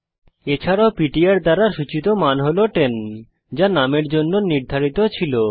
এছাড়াও পিটিআর দ্বারা সূচিত মান হল 10 যা নুম এর জন্য নির্ধারিত ছিল